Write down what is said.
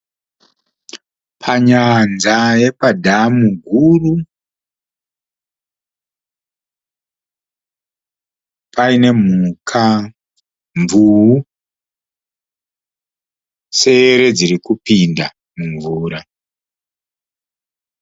panyanza yepadhamu guru paine mhuka mvuu sere dzirikupinda mumvura.